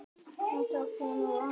En það kemur annað til.